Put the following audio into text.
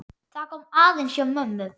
Það kom aðeins á mömmu.